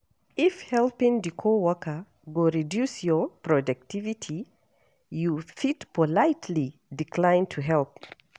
If helping di co-worker go reduce your productivity, you fit politely decline to help